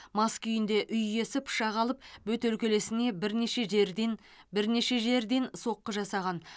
мас күйінде үй иесі пышақ алып бөтелкелесіне бірнеше жерден бірнеше жерден соққы жасаған